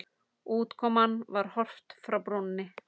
Útkoman var Horft frá brúnni.